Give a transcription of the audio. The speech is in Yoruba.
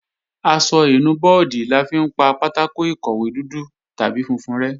Aṣọ ìnu bọ́ọ̀dì la fi ń pa pátákò ìkọ̀wé dúdú tàbí funfun rẹ́